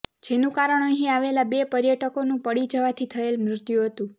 જેનું કારણ અહીં આવેલા બે પર્યટકોનું પડી જવાથી થયેલ મૃત્યુ હતું